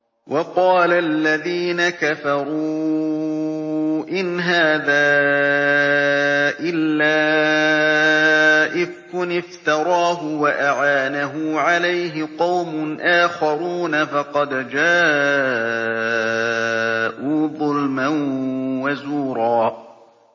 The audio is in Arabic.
وَقَالَ الَّذِينَ كَفَرُوا إِنْ هَٰذَا إِلَّا إِفْكٌ افْتَرَاهُ وَأَعَانَهُ عَلَيْهِ قَوْمٌ آخَرُونَ ۖ فَقَدْ جَاءُوا ظُلْمًا وَزُورًا